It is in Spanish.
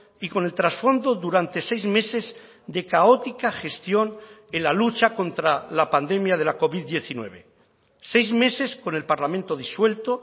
y con el trasfondo durante seis meses de caótica gestión en la lucha contra la pandemia de la covid diecinueve seis meses con el parlamento disuelto